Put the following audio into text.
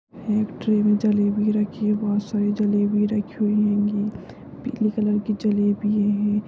एक ट्रे में जलेबी रखी बहुत सारी जलेबी रखी हुई हेंगी पीली कलर कि जलेबी है।